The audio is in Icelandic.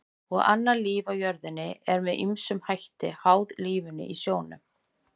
Og annað líf á jörðinni er með ýmsum hætti háð lífinu í sjónum.